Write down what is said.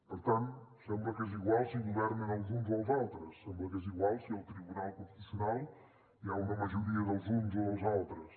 per tant sembla que és igual si governen els uns o els altres sembla que és igual si al tribunal constitucional hi ha una majoria dels uns o dels altres